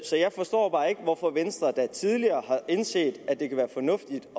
hvorfor venstre der tidligere har indset at det kan være fornuftigt